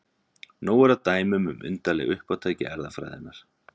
Nóg er af dæmum um undarleg uppátæki erfðafræðinnar.